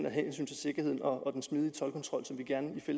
af hensyn til sikkerheden og den smidige toldkontrol som vi